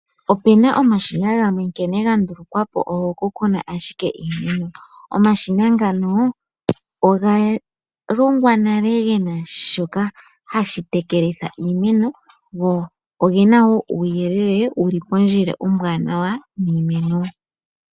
Opuna omashina gamwe nkene ga ndulukwapo ogo ku na ashike iimeno. Omashina ngano oga longwa nale gena shoka hashi tekelitha iimeno.